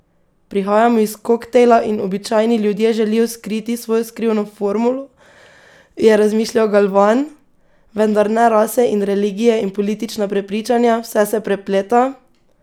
Prihajamo iz koktajla in običajni ljudje želijo skriti svojo skrivno formulo, je razmišljal Galvan: 'Vendar ne, rase in religije in politična prepričanja, vse se prepleta!